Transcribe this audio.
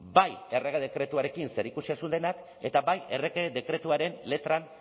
bai errege dekretuarekin zerikusia zuenak eta bai errege dekretuaren letran